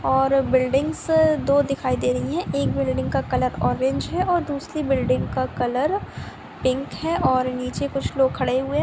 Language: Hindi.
और बिल्डिंग्स दो दिखाई दे रही है एक बिल्डिंग का कलर ऑरेंज है और दूसरी बिल्डिंग का कलर पिंक है और नीचे कुछ लोग खड़े हुए है।